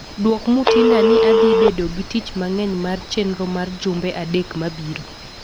dwok Mutinda ni adhi bedo gi tich mang'eny mar chenro mar jumbe adek mabiro